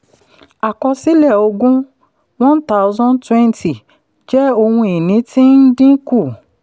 àkọsílẹ̀ ogún one thousand and twenty jẹ́ ohun ìní tí ń dín kù.